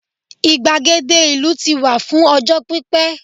igbagede ìlú ti wà fún ọjọ pipẹ